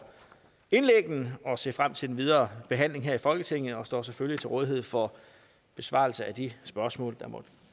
indlæggene og ser frem til den videre behandling her i folketinget og jeg står selvfølgelig til rådighed for besvarelse af de spørgsmål der måtte